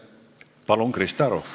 Palun, Krista Aru!